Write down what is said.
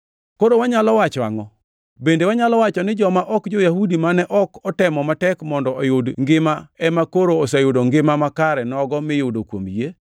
Koro wanyalo wacho angʼo? Bende wanyalo wacho ni joma ok jo-Yahudi mane ok otemo matek mondo oyud ngima ema koro oseyudo ngima makare nogo miyudo kuom yie;